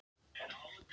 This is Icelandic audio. Það var líka rétt val.